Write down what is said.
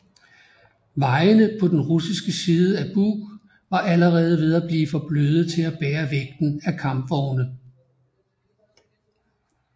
Vejene på den russiske side af Bug var allerede ved at blive for bløde til at bære vægten af kampvogne